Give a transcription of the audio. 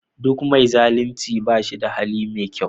Duk me zalunci bashin da hali me kyau